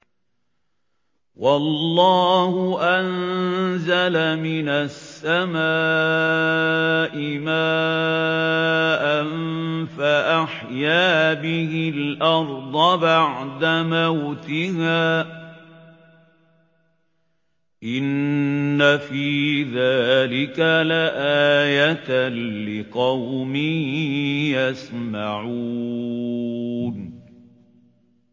وَاللَّهُ أَنزَلَ مِنَ السَّمَاءِ مَاءً فَأَحْيَا بِهِ الْأَرْضَ بَعْدَ مَوْتِهَا ۚ إِنَّ فِي ذَٰلِكَ لَآيَةً لِّقَوْمٍ يَسْمَعُونَ